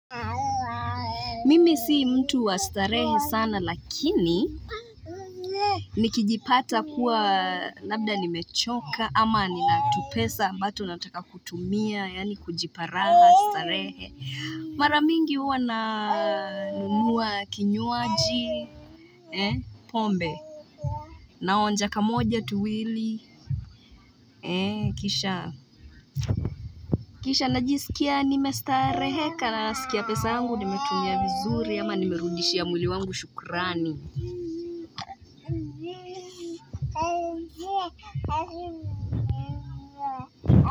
Mimi si mtu wa starehe sana lakini nikijipata kuwa labda nimechoka ama nina tupesa ambato nataka kutumia yani kujipa raha starehe Mara mingi huwa nanunua kinywaji pombe naonja kamoja tuwili Kisha najisikia nimestareheka nasikia pesa yangu nimetumia vizuri ama nimerudishia mwili wangu shukrani.